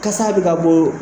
Kasa bɛ ka bɔ